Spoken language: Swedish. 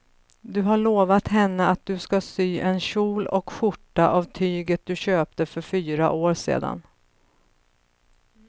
Du har lovat henne att du ska sy en kjol och skjorta av tyget du köpte för fyra år sedan.